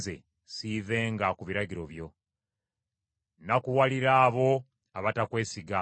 Nnakuwalira abo abatakwesiga, kubanga tebakwata biragiro byo.